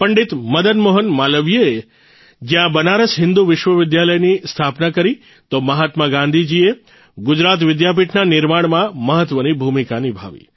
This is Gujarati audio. પંડિત મદન મોહન માલવીયજીએ જયાં બનારસ હિંદુ વિશ્વવિદ્યાલયની સ્થાપના કરી તો મહાત્મા ગાંધીજીએ ગુજરાત વિદ્યાપીઠના નિર્માણમાં મહત્વની ભૂમિકા નિભાવી